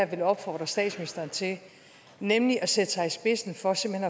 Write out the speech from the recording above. vil opfordre statsministeren til nemlig at sætte sig i spidsen for simpelt